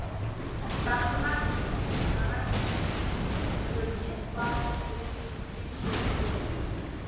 тақсыр ай жарайды деп өлмес басы жерге жеткенше иілді